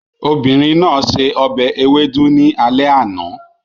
Obìnrin náà se ọbẹ̀ ewedu ní alẹ́ àná